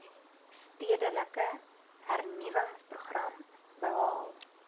stedelike hernuwingsprogram behaal